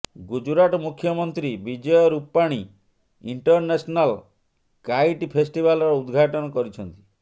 ଗୁଜୁରାଟ ମୁଖ୍ୟମନ୍ତ୍ରୀ Vijay Rupani international kite festival ର ଉଦଘାଟନ କରିଛନ୍ତି